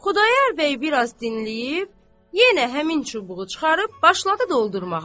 Xudayar bəy biraz dinləyib, yenə həmin çubuğu çıxarıb başladı doldurmağa.